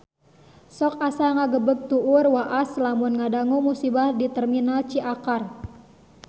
Sok asa ngagebeg tur waas lamun ngadangu musibah di Terminal Ciakar